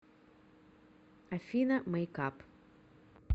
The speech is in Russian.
афина мэйкап